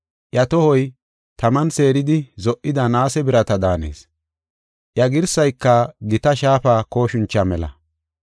Iya tohoy taman seeridi zo77ida naase birata daanees; iya girsayka gita shaafa kooshincha mela.